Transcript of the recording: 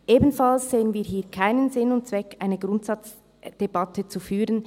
Ebenfalls sehen wir keinen Sinn und Zweck, hier eine Grundsatzdebatte zu führen.